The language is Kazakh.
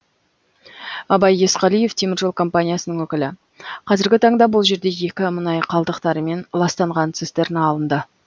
абай есқалиев теміржол компаниясының өкілі қазіргі таңда бұл жерде екі мұнай қалдықтарымен ластанған цистерна алынды